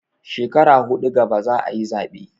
Shekara huɗu gaba za a yi zaɓe.